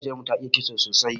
Maƙociyar mu ta iya kitso sosai.